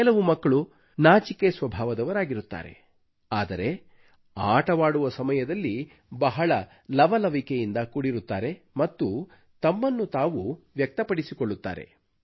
ಕೆಲವು ಮಕ್ಕಳು ನಾಚಿಕೆ ಸ್ವಭಾವದವರಾಗಿರುತ್ತಾರೆ ಆದರೆ ಆಟವಾಡುವ ಸಮಯದಲ್ಲಿ ಬಹಳ ಲವಲವಿಕೆಯಿಂದ ಕೂಡಿರುತ್ತಾರೆ ಮತ್ತು ತಮ್ಮನ್ನು ತಾವು ವ್ಯಕ್ತಪಡಿಸಿಕೊಳ್ಳುತ್ತಾರೆ